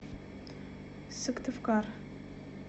сыктывкар